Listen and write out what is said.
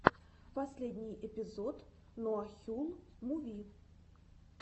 последний эпизод нуахюл муви